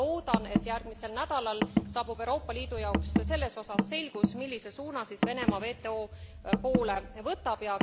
Ma väga loodan, et järgmisel nädalal saabub Euroopa Liidu jaoks selles osas selgus, millise suuna siis Venemaa WTO poole võtab.